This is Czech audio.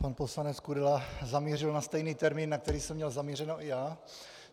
Pan poslanec Kudela zamířil na stejný termín, na který jsem měl zamířeno i já.